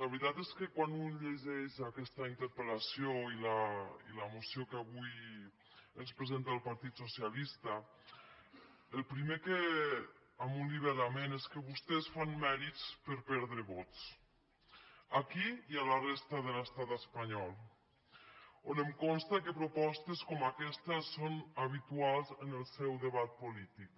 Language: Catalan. la veritat és que quan un llegeix aquesta interpel·lació i la moció que avui ens presenta el partit socialista el primer que a un li ve a la ment és que vostès fan mèrits per perdre vots aquí i a la resta de l’estat espanyol on em consta que propostes com aquesta són habituals en el seu debat polític